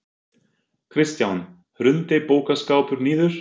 Kristján: Hrundi bókaskápur niður?